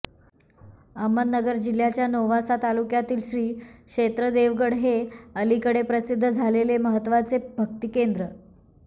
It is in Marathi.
अहमदनगर जिल्ह्याच्या नेवासा तालुक्यातील श्री क्षेत्र देवगड हे अलिकडे प्रसिद्ध झालेले महत्त्वाचे भक्तिकेंद्र